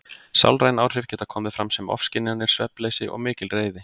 Sálræn áhrif geta komið fram sem ofskynjanir, svefnleysi og mikil reiði.